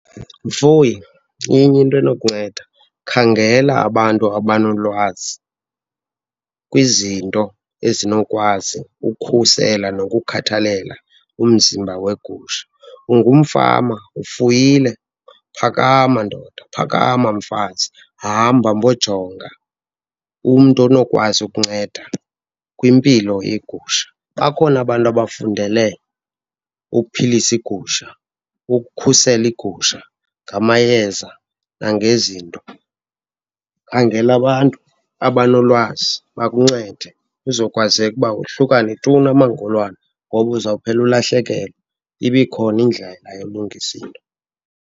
Mfuyi, inye into enokunceda, khangela abantu abanolwazi kwizinto ezinokwazi ukukhusela nokukhathalela umzimba wegusha. Ungumfama, ufuyile, phakama ndoda, phakama mfazi. Hamba mbojonga umntu onokwazi ukunceda kwimpilo yegusha. Bakhona abantu abafundele ukuphilisa iigusha, ukukhusela iigusha ngamayeza nangezinto. Khangela abantu abanolwazi bakuncede kuzokwazeka ukuba wohlukane tu namangolwane ngoba uzawuphela ulahlekelwa, ibe ikhona indlela yokulungisa into.